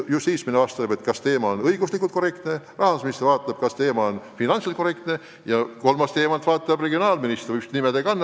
Justiitsminister vaatab, kas kõik on õiguslikult korrektne, rahandusminister vaatab, kas kõik on finantsiliselt korrektne ja kolmandast aspektist vaatab regionaalminister, ükskõik mis nime ta ka ei kanna.